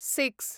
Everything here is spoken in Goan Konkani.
सिक्स